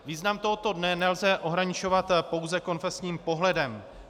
Význam tohoto dne nelze ohraničovat pouze konfesním pohledem.